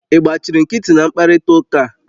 Ị gbachiri nkịtị na mkparịta ụka a